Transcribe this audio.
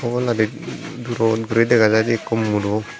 oboladi durot guri dega jaidey ikko muro.